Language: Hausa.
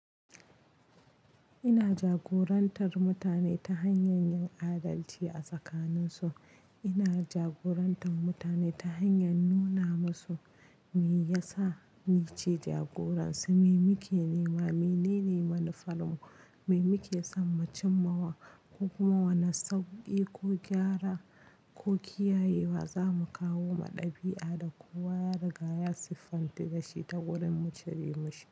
Ina jagorantar mutane ta hanyar yin adalci a tsakaninsu. Ina jagorantar mutane ta hanyar nuna musu me yasa nice jagoran su, me muke nema, menene manufarmu, me muke son mu cimmawa ko kuma wane sauƙi ko gyara ko kiyayewa za mu kawo ma ɗabi'a da kowa ya riga ya siffanta da shi ta wurin mu cire mashi.